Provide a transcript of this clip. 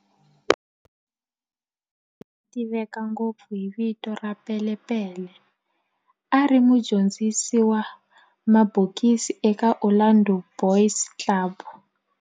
Andries Mkhwanazi, loyi a tiveka ngopfu hi vito ra"Pele Pele", a ri mudyondzisi wa mabokisi eka Orlando Boys Club